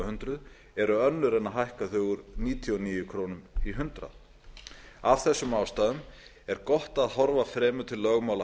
hundruð eru önnur en að hækka þau úr níutíu og níu krónur í hundrað af þessum ástæðum er gott að horfa fremur til lögmála